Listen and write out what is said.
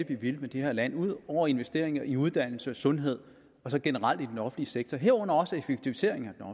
vi vil med det her land ud over investeringer i uddannelse sundhed og så generelt i den offentlige sektor herunder også effektiviseringer